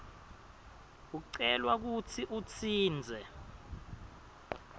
ucelwa kutsi utsintse